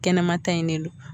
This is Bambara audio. Kɛnɛma ta in ne don.